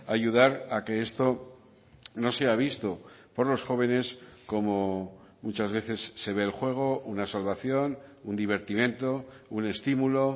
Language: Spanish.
ayudar a que esto no sea visto por los jóvenes como muchas veces se ve el juego una salvación un divertimento un estímulo